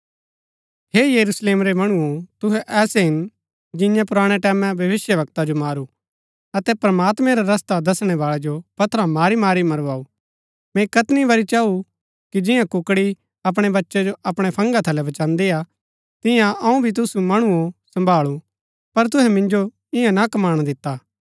हे यरूशलेम रै मणुओ तूहै ऐसै हिन जिन्यै पुराणै टैमैं भविष्‍यवक्ता जो मारू अतै प्रमात्मैं रा रस्ता दसणै बाळै जो पत्थरा मारी मारी मरूवाऊ मैंई कैतनी बरी चाऊ कि जियां कुकड़ी अपणै बच्चै जो अपणै फंगा थलै बचान्दीआ तिआंई अऊँ भी तुसु मणुओ सम्भाळू पर तुहै मिन्जो ईयां ना कमाणा दिता